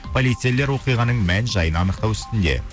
полицейлер оқиғаның мән жайын анықтау үстінде